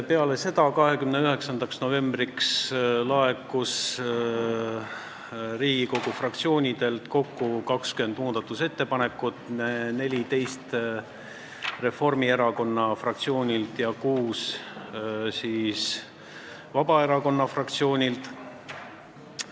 Peale seda, 29. novembriks laekus Riigikogu fraktsioonidelt kokku 20 muudatusettepanekut: 14 Reformierakonna fraktsioonilt ja kuus Vabaerakonna fraktsioonilt.